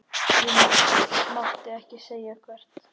Ég mátti ekki segja hvert.